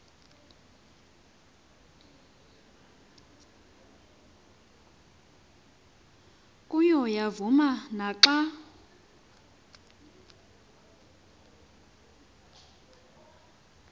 kuyo yavuma naxa